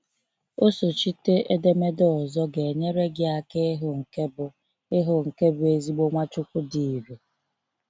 osochite edemede ọzọ ga enyere gị aka ịhụ nke bụ ịhụ nke bụ ezigbo Nwachukwu dị ị̀rè.